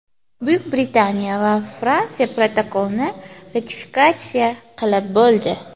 Buyuk Britaniya va Fransiya protokolni ratifikatsiya qilib bo‘ldi”.